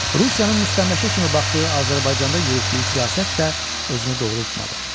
Rusiyanın müstəmləkə kimi baxdığı Azərbaycanda yürütdüyü siyasət də özünü doğrultmadı.